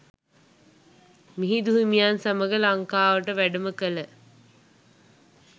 මිහිඳු හිමියන් සමඟ ලංකාවට වැඩම කළ